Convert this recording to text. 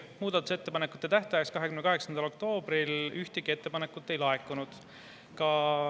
Muudatusettepanekute tähtajaks, 28. oktoobriks, ühtegi ettepanekut ei laekunud.